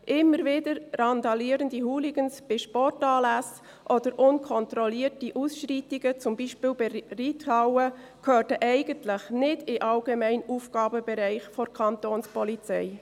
Immer wieder randalierende Hooligans bei Sportanlässen oder unkontrollierte Ausschreitungen, zum Beispiel bei der Reithalle, gehörten eigentlich nicht in den allgemeinen Aufgabenbereich der Kapo.